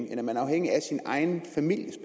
end at man er afhængig af sin egen families